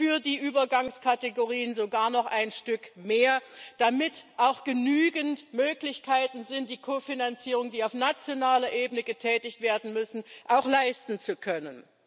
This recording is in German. für die Übergangskategorien sogar noch ein Stück mehr, damit auch genügend Möglichkeiten vorhanden sind, die Kofinanzierungen, die auf nationaler Ebene getätigt werden müssen, auch leisten zu können.